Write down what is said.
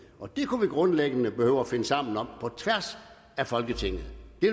og det kunne vi grundlæggende behøve at finde sammen om på tværs af folketinget